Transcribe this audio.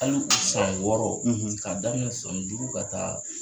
Hal' u san wɔɔrɔ ;,, k'a daminɛ san duuru ka taa.